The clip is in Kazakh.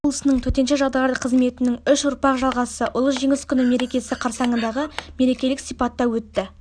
облысының төтенше жағдайлар қызметінің үш ұрпақ жалғасы ұлы жеңіс күні мерекесі қарсаңындағы мерекелік сипатта өтті